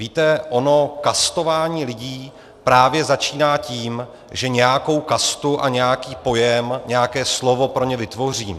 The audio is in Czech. Víte, ono kastování lidí právě začíná tím, že nějakou kastu a nějaký pojem, nějaké slovo pro ně vytvořím.